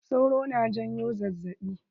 Sauro na janyo zazzaɓi.